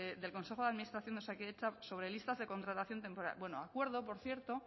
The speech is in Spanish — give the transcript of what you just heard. del consejo de administración de osakidetza sobre listas de contratación temporal bueno acuerdo por cierto